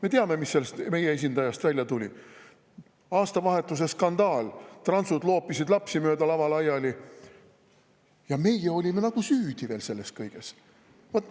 Me teame, mis sellest meie esindajast välja tuli: aastavahetuse skandaal, transud loopisid lapsi mööda lava laiali, ja meie olime nagu selles kõiges veel süüdi.